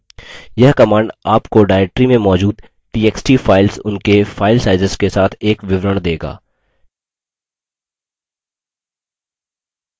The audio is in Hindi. यह command आपको directory में मौजूद txt files उनके फाइल sizes के साथ एक विवरण देगा